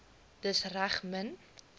dis reg min